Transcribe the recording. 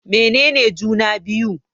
Mene ne juna-biyu?